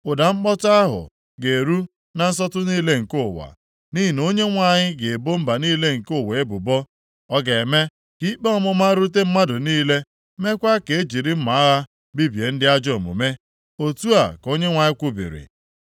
Ụda mkpọtụ ahụ ga-eru na nsọtụ niile nke ụwa, nʼihi na Onyenwe anyị ga-ebo mba niile nke ụwa ebubo. Ọ ga-eme ka ikpe ọmụma rute mmadụ niile, meekwa ka e jiri mma agha bibie ndị ajọ omume.’ ” Otu a ka Onyenwe anyị kwubiri.